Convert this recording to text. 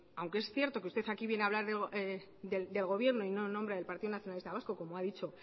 aunque es cierto que usted aquí viene a hablar del gobierno y no en nombre del partido nacionalista vasco como ha dicho